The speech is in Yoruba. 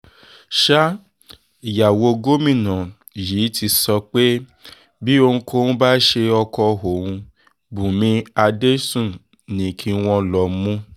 sa ìyàwó gómìnà yìí ti sọ pé bí ohunkóhun bá ṣe ọkọ òun bùnmi adẹ́sùn ni kí wọ́n lọó mú